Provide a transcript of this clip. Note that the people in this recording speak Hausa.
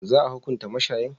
Za a hukuntar mashayin?